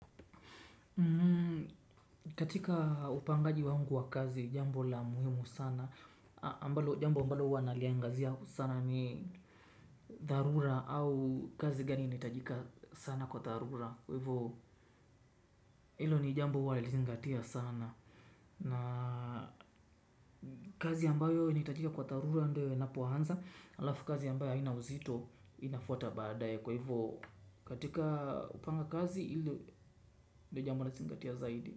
Katika upangaji wangu wa kazi jambo la muhimu sana ambalo, jambo ambalo huwa naliangazia sana ni dharura au kazi gani inahitajika sana kwa dharura kwa hivyo hilo ni jambo huwa na lizingatia sana, na kazi ambayo inahitajika kwa dharura ndio inapoanza halafu kazi ambayo haina uzito inafuata baadaye kwa hivo katika upanga kazi hilo ndio jambo nazingatia zaidi.